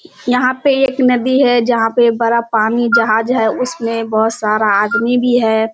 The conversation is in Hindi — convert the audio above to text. यहाँ पे एक नदी है जहाँ पे बड़ा पानी जहाज है। उसमें बहुत सारा आदमी भी है।